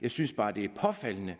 jeg synes bare det er påfaldende